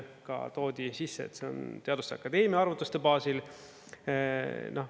Ka toodi sisse, see on teaduste akadeemia arvutuste baasil.